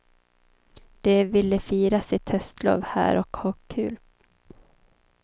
De ville fira sitt höstlov här och ha kul.